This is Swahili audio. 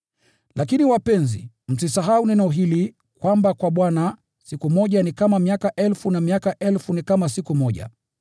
Lakini wapenzi, msisahau neno hili: kwamba kwa Bwana, siku moja ni kama miaka elfu, na miaka elfu ni kama siku moja.